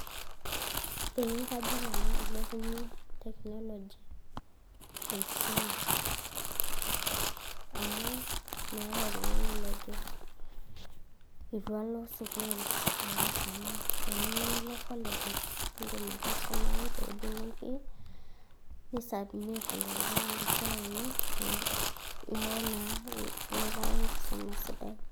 ee kajo nanu ilepunyie teknoloji enkisuma amu meeta oltungani lojo etu alo sukul alo aisuma teniyieu nilo colleges indim ake aisumayu teweuji nitii nisubmit esiai ino niaku naa inoto ake enkisuma sidai.